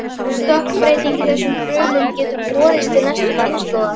Stökkbreyting í þessum frumum getur borist til næstu kynslóðar.